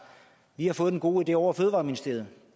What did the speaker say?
vi har fået en god idé ovre i fødevareministeriet og